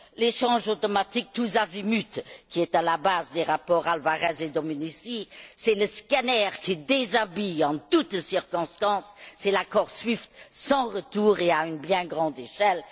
L'échange automatique tous azimuts, qui est à la base des rapports Alvarez et Domenici, c'est le scanner qui déshabille en toutes circonstances, c'est l'accord SWIFT sans retour et à une bien grande échelle.